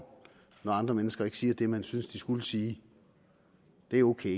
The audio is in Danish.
når andre mennesker ikke siger det man synes de skulle sige det er ok